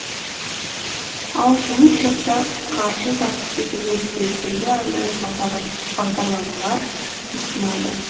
ал жұмыс жасап қаржы тапқысы келген студенттерге арнайы бағдарламалар ұсынады